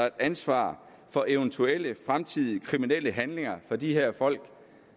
et ansvar for eventuelle fremtidige kriminelle handlinger fra de her folk